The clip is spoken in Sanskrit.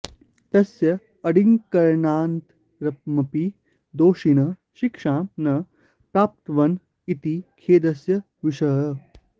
तस्य अङ्गीकरणानन्तरमपि दोषिणः शिक्षां न प्राप्नुवन् इति खेदस्य विषयः